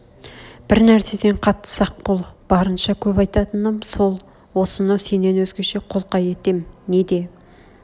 бір нәрседен қатты сақ бол бар-барынша көп айтатыным сол осыны сенен өзгеше қолқа етем не де